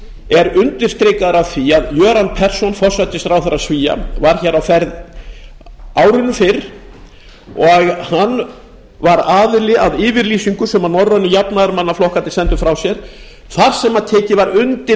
er undirstrikaður af því að göran persson forsætisráðherra svía var hér á ferð árinu fyrr og hann var aðili að yfirlýsingu sem norrænu jafnaðarmannaflokkarnir sendur frá sér þar sem tekið var undir